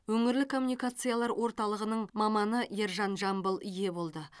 өңірлік коммуникациялар орталығының маманы ержан жамбыл ие болды